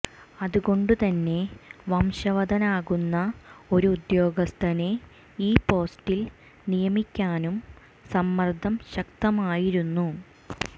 അതുകൊണ്ട് തന്നെ വശംവദനാകുന്ന ഒരു ഉദ്യോഗസ്ഥനെ ഈ പോസ്റ്റിൽ നിയമിക്കാനും സമ്മർദ്ദം ശക്തമായിരുന്നു